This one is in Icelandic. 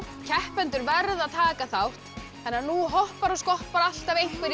keppendur verða að taka þátt þannig að nú hoppar og skoppar alltaf einhver í